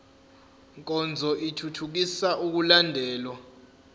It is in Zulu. nkonzo ithuthukisa ukulandelwa